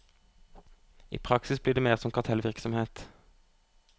I praksis blir det mer som kartellvirksomhet.